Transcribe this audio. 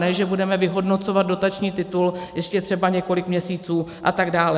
Ne že budeme vyhodnocovat dotační titul ještě třeba několik měsíců a tak dále.